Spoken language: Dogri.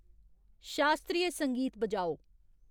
शास्त्रीय संगीत बजाओ